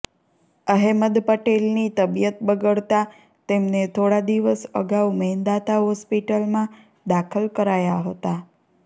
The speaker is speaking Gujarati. અહેમદ પટેલની તબિયત બગડતાં તેમને થોડા દિવસ અગાઉ મેદાંતા હોસ્પિટલમાં દાખલ કરાયા હતા